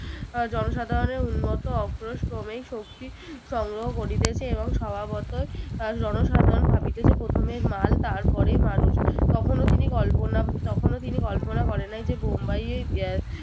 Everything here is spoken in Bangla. জনসাধারণের উন্মত্ত অক্রোশ ক্রমেই শক্তি সংগ্রহ করিতেছে এবং স্বভাবতই আহ জনসাধারণ ভবিতেছে প্রথমে মাল তারপরে মানুষ তখনও তিনি কল্পনা তখনও তিনি কল্পনা করেন নাই যে বোম্বাই এ আহ